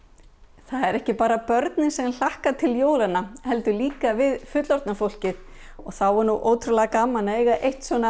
það eru ekki bara börnin sem hlakka til jólanna heldur líka við fullorðna fólkið og þá er ótrúlega gaman að eiga eitt svona